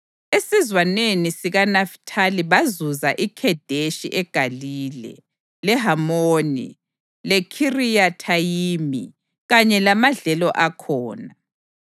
esizwaneni sikaNafithali bazuza iKhedeshi eGalile, leHamoni, leKhiriyathayimi kanye lamadlelo akhona.